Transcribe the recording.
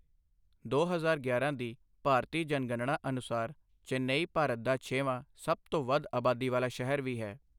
ਦੋ ਹਜ਼ਾਰ ਗਿਆਰਾਂ ਦੀ ਭਾਰਤੀ ਜਨਗਣਨਾ ਅਨੁਸਾਰ ਚੇਨਈ ਭਾਰਤ ਦਾ ਛੇਵਾਂ ਸਭ ਤੋਂ ਵੱਧ ਆਬਾਦੀ ਵਾਲਾ ਸ਼ਹਿਰ ਵੀ ਹੈ।